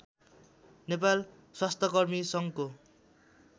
नेपाल स्वास्थ्यकर्मी सङ्घको